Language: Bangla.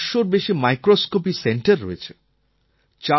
১৩৫০০র বেশি মাইক্রোস্কোপি সেন্টার রয়েছে